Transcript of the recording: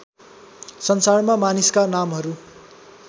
संसारमा मानिसका नामहरू